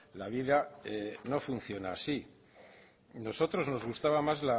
la vida no funciona así a nosotros nos gustaba más